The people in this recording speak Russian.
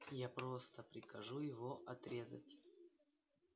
я просто прикажу его отрезать